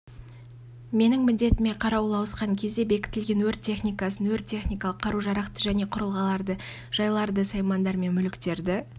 менің міндетіме қарауыл ауысқан кезде бекітілген өрт техникасын өрт-техникалық қару-жарақты және құрылғыларды жайларды саймандар мен мүліктерді